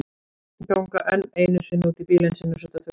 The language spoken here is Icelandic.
Ganga enn einu sinni út í bílinn sinn og setja þurrkurnar á.